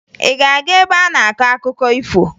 Ị ga-aga ebe a na-akọ akụkọ ifo?